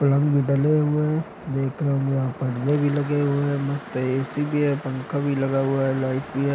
पलंग भी डले हुए हैं। देख रहे होंगे यहाँ पर्दे भी लगे हुए हैं। मस्त एसी भी है। पंखा भी लगा हुआ है। लाइट भी है।